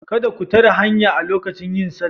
Kada ku tare hanya lokacin yin sallah